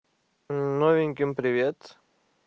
мм новеньким привет